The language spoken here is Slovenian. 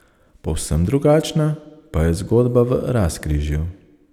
Povsem drugačna pa je zgodba v Razkrižju.